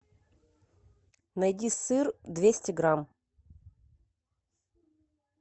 найди сыр двести грамм